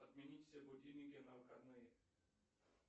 отменить все будильники на выходные